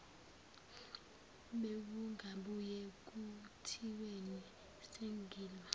bekungabuye kuthiweni sengilwa